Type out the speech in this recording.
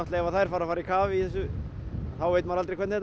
ef þær fara að fara í kaf í þessu þá veit maður aldrei hvernig